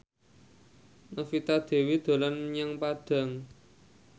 Novita Dewi dolan menyang Padang